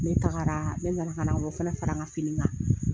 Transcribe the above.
Ne tagara ne nana ka na o fana fara n ka fini kan